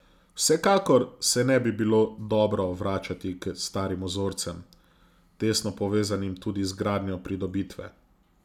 Vsekakor se ne bi bilo dobro vračati k starim vzorcem, tesno povezanim tudi z gradnjo pridobitve.